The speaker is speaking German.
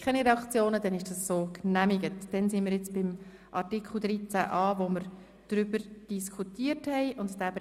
Wir stimmen nun über den Antrag zum Artikel 13a (neu) ab.